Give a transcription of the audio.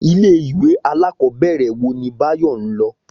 Ilé ìwé alákòóbèrè wo ni Báyò n lo?